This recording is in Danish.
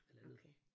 Halvandet